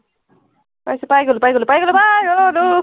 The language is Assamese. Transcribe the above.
পাইছো, পাই গলো, পাই গলো, পাই গলো তোক